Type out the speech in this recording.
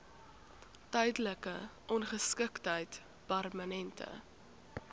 tydelike ongeskiktheid permanente